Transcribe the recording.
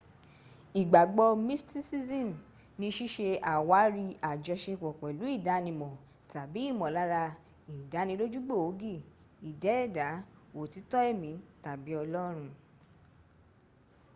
ìgbàgbọ́ mysticism ní síse àwárí ajọsepọ̀ pẹ̀lú ìdánimọ̀ tàbí ìmọ̀lára ìdánilójú gbòógì ìdẹ́ẹ̀dá òtítọ́ ẹ̀mí tàbi ọlọ́run